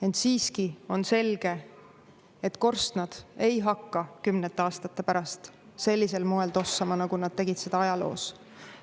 Ent siiski on selge, et korstnad ei hakka kümnete aastate pärast sellisel moel tossama, nagu nad tegid seda ajaloos.